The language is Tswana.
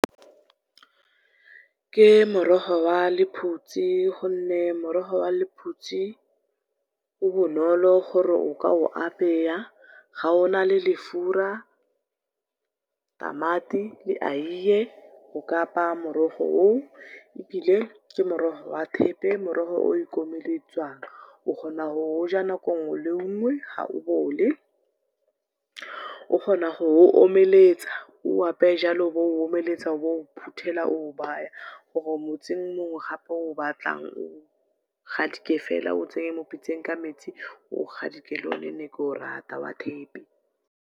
Ke morogo wa lephutsi gonne morogo wa lephutse o bonolo gore o ka o apeya, ga ona le lefura, tamati le eie, o ka apaya morogo oo ebile ke morogo wa thepe, morogo o ikomeletswang. O kgona go o ja nako nngwe le nngwe ga o bole. O kgona go omeletsa o apeye jalo o bo o omeletsa, o bo o phutela, o o baya gore motsing mongwe o obatlang o gadike feela, o tsenye mo pitseng ka metsi o o gadike. Ke one ke ne ke o rata wa thepe.